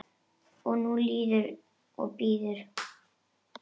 Nú líður og bíður.